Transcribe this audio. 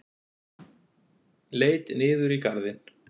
Leit niður í garðinn.